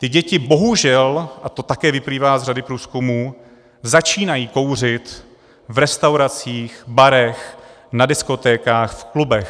Ty děti bohužel, a to také vyplývá z řady průzkumů, začínají kouřit v restauracích, barech, na diskotékách, v klubech.